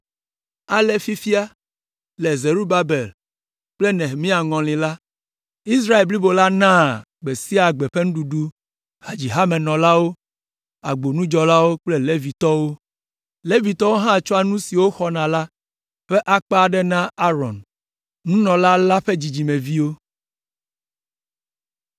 Ale fifia, le Zerubabel kple Nehemia ŋɔli la, Israel blibo la naa gbe sia gbe ƒe nuɖuɖu hadzihamenɔlawo, agbonudzɔlawo kple Levitɔwo. Levitɔwo hã tsɔa nu si woxɔna la ƒe akpa aɖe na Aron, nunɔla la ƒe dzidzimeviwo.